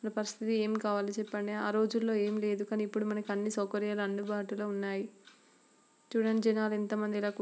ఎం కావాలో చెప్పండి ఫస్ట్ లో ఎం లెదు ఇప్పుడు మనకి అన్ని సౌకర్యాలున్నాయి చుడండి. జెనాలు ఎంత మంది--